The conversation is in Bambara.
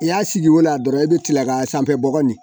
I y'a sigi o la dɔrɔn e bɛ tila k'a sanfɛ bɔgɔ ni